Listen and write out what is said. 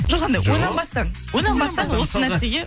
жоқ анандай ойланбастан ойланбастан осы нәрсеге